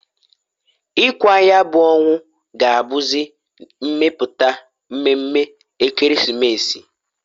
Ikwa nya bu onwu ga-abuzi m'emeputa mmeme Ekeresimesi.